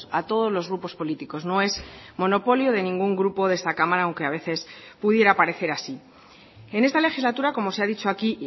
a todos los grupos políticos no es monopolio de ningún grupo de esta cámara aunque a veces pudiera parecer así en esta legislatura como se ha dicho aquí